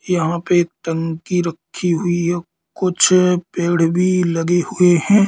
यहां पे एक टंकी रखी हुई है कुछ पेड़ भी लगे हुए हैं।